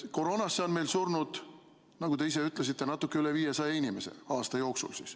Koroonasse on meil surnud, nagu te ise ütlesite, natuke üle 500 inimese aasta jooksul.